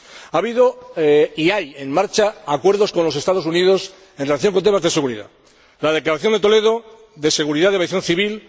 Ha habido —y hay en marcha— acuerdos con los Estados Unidos en relación con temas de seguridad la Declaración de Toledo sobre seguridad y aviación civil